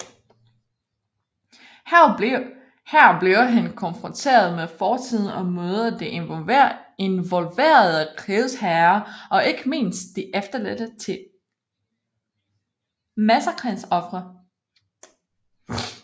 Her bliver han konfronteret med fortiden og møder de involverede krigsherrer og ikke mindst de efterladte til massakrens ofre